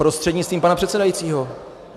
Prostřednictvím pana předsedajícího.